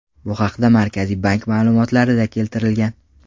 Bu haqda Markaziy bank ma’lumotlarida keltirilgan .